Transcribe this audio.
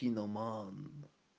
киноман